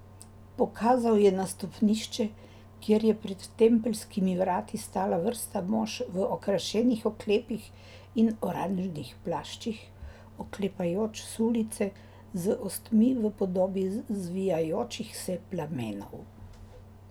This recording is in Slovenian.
Pokazal je na stopnišče, kjer je pred tempeljskimi vrati stala vrsta mož v okrašenih oklepih in oranžnih plaščih, oklepajoč sulice z ostmi v podobi zvijajočih se plamenov.